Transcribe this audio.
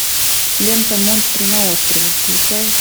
лента монстры на острове включай